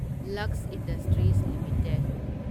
Lux industries limited